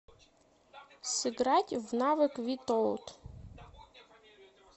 сыграть в навык витоот